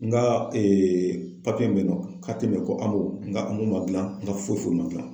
N ka papiye mun be yen nɔ koAMO. N ka AMO ma jilan n ka foyi ma jilan.